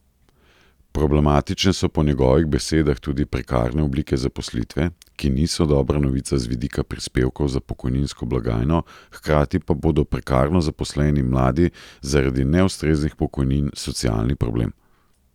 Problematične so po njegovih besedah tudi prekarne oblike zaposlitve, ki niso dobra novica z vidika prispevkov za pokojninsko blagajno, hkrati pa bodo prekarno zaposleni mladi zaradi neustreznih pokojnin socialni problem.